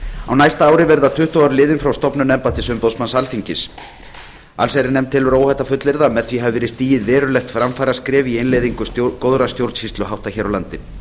á næsta ári verða tuttugu ár liðin frá stofnun embættis umboðsmanns alþingis allsherjarnefnd telur óhætt að fullyrða að með því hafi verið stigið verulegt framfaraskref í innleiðingu góðra stjórnsýsluhátta hér á landi